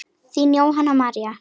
Þín Jóhanna María.